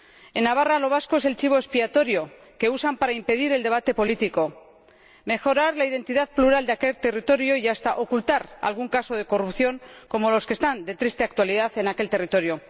En Navarra, lo vasco es el chivo expiatorio que usan para impedir el debate político, negar la identidad plural de aquel territorio y hasta ocultar algún caso de corrupción como los que están de triste actualidad en aquel territorio.